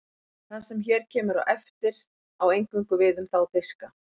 það sem hér kemur á eftir á eingöngu við um þá diska